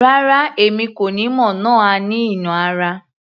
Rárá! Èmi kò ni mo nà á ní ìnà ara